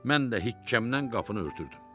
Mən də hikkəmdən qapını örtürdüm.